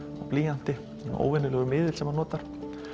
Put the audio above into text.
og blýanti óvenjulegur miðill sem hann notar